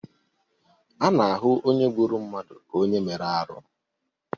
A na-ahụ onye gburu mmadụ ka onye mere arụ.